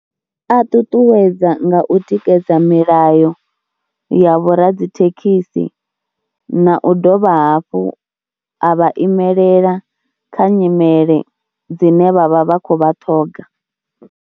A ṱuṱuwedza nga u tikedza milayo ya vhoradzithekhisi na u dovha hafhu a vha imelela kha nyimele dzine vha vha vha khou vha ṱhoga.